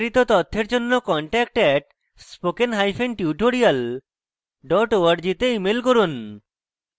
বিস্তারিত তথ্যের জন্য contact @spokentutorial org তে ইমেল করুন